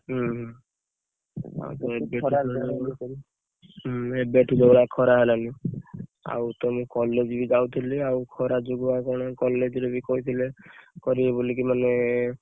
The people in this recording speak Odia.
ହୁଁ ଆଉ ଏବେ ଏବେ ତ ଯଉ ଭଳିଆ ଖରା ହେଲାଣି ଏବେ ଠୁ ଯଉ ଭଳିଆ ଖରା ହେଲାଣି ଆଉ ତ ମୁଁ college ବି ଯାଉଥିଲି ଆଉ ଖରା ଯୋଗୁ ଆଉ କଣ college ରେ ବି କହିଥିଲେ କରିବେ ବୋଲି ମାନେ ସକାଳୁଆ